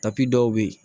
dɔw bɛ yen